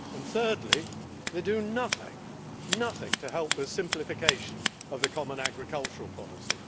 Thirdly, they do nothing to help with the simplification of the common agricultural policy.